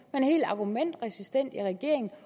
er helt argumentresistent i regeringen